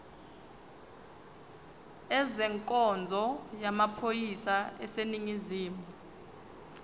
ezenkonzo yamaphoyisa aseningizimu